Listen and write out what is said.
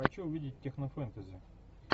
хочу увидеть технофэнтези